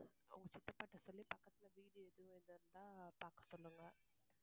உங்க சித்தப்பா கிட்ட சொல்லி பக்கத்துல வீடு எதுவும் இருந்தா பாக்க சொல்லுங்க.